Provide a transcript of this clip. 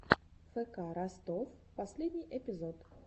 фк ростов последний эпизод